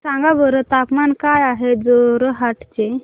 सांगा बरं तापमान काय आहे जोरहाट चे